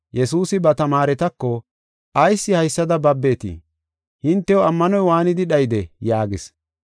Yesuusi ba tamaaretako, “Ayis haysada babetii? Hintew ammanoy waanidi dhayidee?” yaagis.